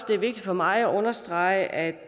det vigtigt for mig at understrege at